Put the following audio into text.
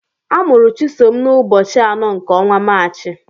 Amụrụ Chisom n'ụbọchị anọ nke ọnwa Maachị.